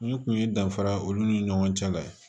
Nin kun ye danfara ye olu ni ɲɔgɔn cɛ la ye